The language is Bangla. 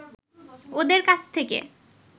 ওঁদের কাছ থেকে